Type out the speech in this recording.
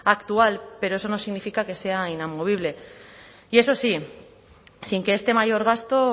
actual pero eso no significa que sea inamovible y eso sí sin que este mayor gasto